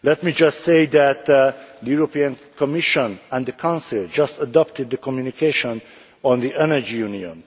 Let me simply say that the European Commission and the Council have just adopted the communication on the Energy Union.